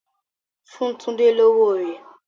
Fun Tunde lowo rẹ!